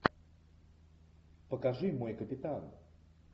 покажи мой капитан